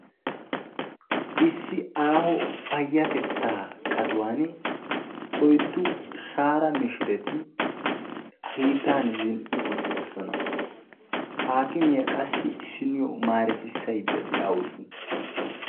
Issi aaho payyatettaa qatuwani oyddu shaara mishireti hiittan zin"i uttidosona. Haakimiya qassi issinniyo maaretissaydda de'awusu.